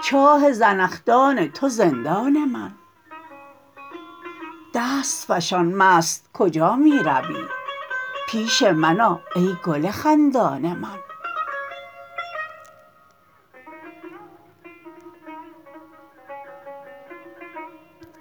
چاه زنخدان تو زندان من دست فشان مست کجا می روی پیش من آ ای گل خندان من